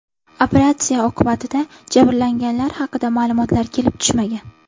Operatsiya oqibatida jabrlanganlar haqida ma’lumotlar kelib tushmagan.